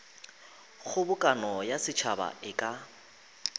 kgobokano ya setšhaba e ka